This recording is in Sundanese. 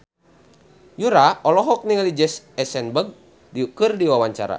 Yura olohok ningali Jesse Eisenberg keur diwawancara